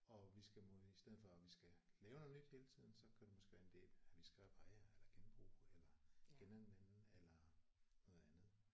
Og vi skal må i stedet for at vi skal lave noget nyt hele tiden så kunne det måske være en ide at vi skal reparere eller genbruge eller genanvende eller noget andet